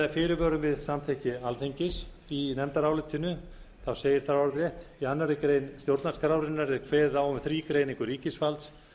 fyrirvörum við samþykki alþingis í nefndarálitinu segir þar orðrétt í annarri grein stjórnarskrárinnar er kveðið á um þrígreiningu ríkisvalds